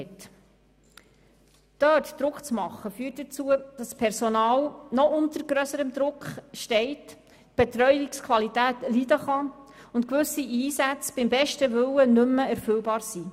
Dort Druck auszuüben, führt dazu, dass das Personal noch unter grösseren Druck gerät, sodass die Betreuungsqualität darunter leiden könnte und gewisse Einsätze beim besten Willen nicht mehr erfüllbar wären.